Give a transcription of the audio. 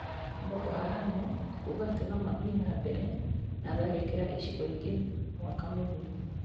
Boko Haram kuga atĩ nomathiĩ na mbere na tharĩkĩra icigo-inĩ ingĩ mwaka mũthiru